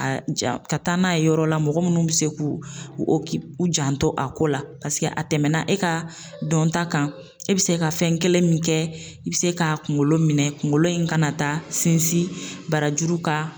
A ka taa n'a ye yɔrɔ la mɔgɔ munnu bi se k'u u janto a ko la paseke a tɛmɛna e ka dɔnta kan, e bi se ka fɛn kelen min kɛ, i bɛ se k'a kunkolo minɛ, kunkolo in ka na taa sinsin barajuru kan.